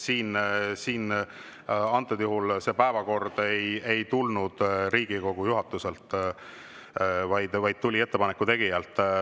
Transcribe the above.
Nii et praegusel juhul see päevakord ei tulnud mitte Riigikogu juhatuselt, vaid ettepaneku tegijalt.